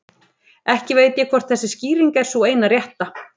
Ekki veit ég hvort þessi skýring er sú eina rétta.